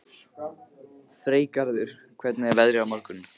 Freygarður, hvernig er veðrið á morgun?